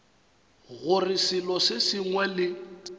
gore selo se sengwe le